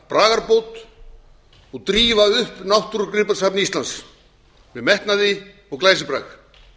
þarna bragarbót og drífa upp náttúrugripasafn íslands með metnaði og glæsibrag